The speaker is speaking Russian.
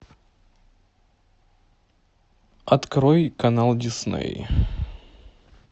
открой канал дисней